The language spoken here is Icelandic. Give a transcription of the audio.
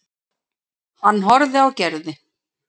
Hann horfði á Gerði.